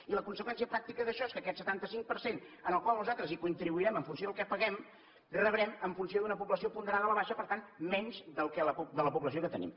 i la conseqüència pràctica d’això és que d’aquest setanta cinc per cent al qual nosaltres contribuirem en funció del que paguem rebrem en funció d’una població ponderada a la baixa per tant menys de la població que tenim